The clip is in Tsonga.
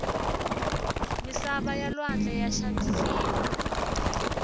misava ya lwandle ya xavisiwa